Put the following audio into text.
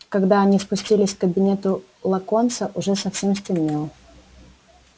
когда они спустились к кабинету локонса уже совсем стемнело